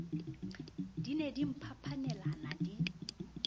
di ne di mphapanelana di